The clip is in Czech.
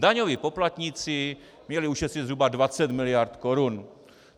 Daňoví poplatníci měli ušetřit zhruba 20 miliard korun.